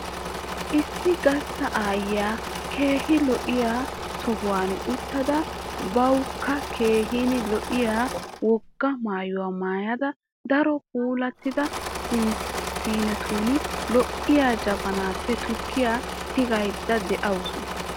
Issi gastta aayyiya keehi lo'iya sohuwan uttada bawukka keehin lo'iya wogaa maayuwa maayada daro puulattida siinetun lo'iya jabanaappe tukkiya tigayidda de'awusu.